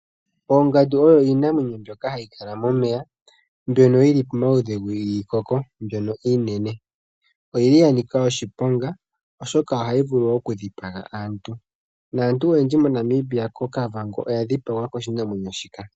Oongandu oyo iinamwenyo hayi kala momeya mbyono yili pamaludhi giikoko mbyono iinene. Oyili ya nika oshiponga oshoka ohayi vulu okudhipaga aantu. Naantu oyendji koKavango oya dhipagwa koshinamwenyo shika.